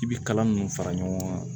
I bi kalan ninnu fara ɲɔgɔn kan